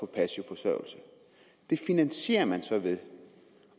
passiv forsørgelse det finansierer man så ved